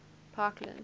parkland